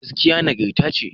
Gaskiya nagarta ce..